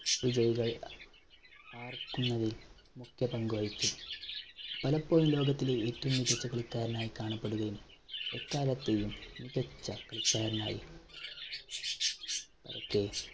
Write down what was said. വിജയികൾ ആർക്കുന്നതിൽ മുഖ്യ പങ്ക് വഹിച്ചു. പലപ്പോഴും ലോകത്തിലെ ഏറ്റവും മികച്ച കളിക്കാരനായി കാണപ്പെടുകയും എക്കാലത്തെയും മികച്ച കളിക്കാരനായി